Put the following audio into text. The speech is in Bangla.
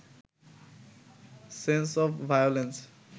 sense of violence